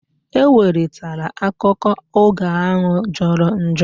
Ewelitela akụkọ ógà ahụ jọrọ njọ!